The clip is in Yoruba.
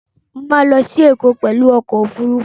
Mo ma lọ sí Ẹ̀kọ́ pẹ̀lú ọkọ̀ Òfurufú